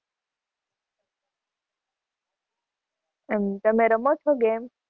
એમ તમે રમો છો game?